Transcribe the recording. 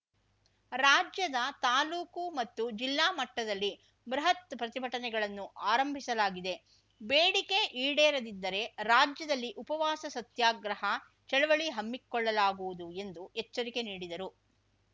ರಾಜ್ಯದ ತಾಲೂಕು ಮತ್ತು ಜಿಲ್ಲಾ ಮಟ್ಟದಲ್ಲಿ ಬೃಹತ್‌ ಪ್ರತಿಭಟನೆಗಳನ್ನು ಆರಂಭಿಸಲಾಗಿದೆ ಬೇಡಿಕೆ ಈಡೇರದಿದ್ದರೆ ರಾಜ್ಯದಲ್ಲಿ ಉಪವಾಸ ಸತ್ಯಾಗ್ರಹ ಚಳವಳಿ ಹಮ್ಮಿಕೊಳ್ಳಲಾಗುವುದು ಎಂದು ಎಚ್ಚರಿಕೆ ನೀಡಿದರು